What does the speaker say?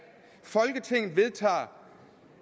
folketinget vedtager